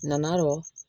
Nana dɔn